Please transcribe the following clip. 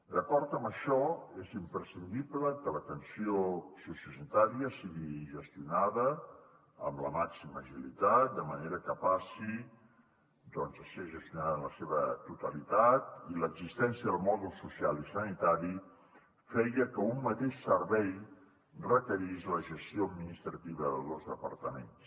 d’acord amb això és imprescindible que l’atenció sociosanitària sigui gestionada amb la màxima agilitat de manera que passi a ser gestionada en la seva totalitat i l’existència del mòdul social i sanitari feia que un mateix servei requerís la gestió administrativa de dos departaments